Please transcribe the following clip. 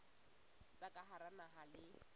tsa ka hara naha le